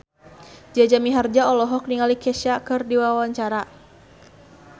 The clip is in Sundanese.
Jaja Mihardja olohok ningali Kesha keur diwawancara